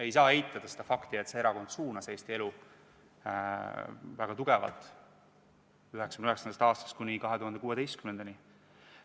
Ei saa eitada fakti, et see erakond suunas Eesti elu väga tugevalt 1999. aastast kuni 2016. aastani.